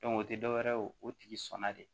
o tɛ dɔwɛrɛ ye o tigi sɔnna de